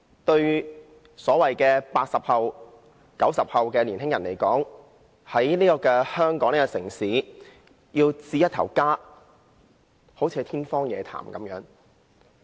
對所謂的 "80 後"和 "90 後"的年輕人來說，在香港這個城市要置一個家，好像是天方夜譚。